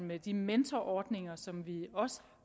med de mentorordninger som vi også